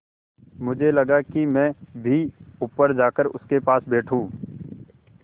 मुझे लगा कि मैं भी ऊपर जाकर उनके पास बैठूँ